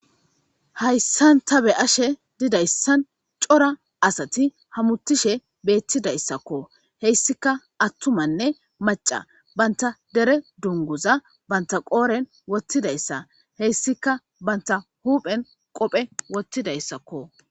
Hayssan ta be ashe didayssan cora asati hamuttishe beettidayssakko heyssika attumanne maca banta dere dunguza banta qooren wottidayssa heyssika banta huuphen qophe wottidayssakko